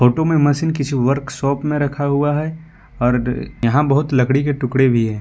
Auto में machine किसी workshop में रखा हुआ है आर यहां बहुत लकड़ी के टुकड़े भी है।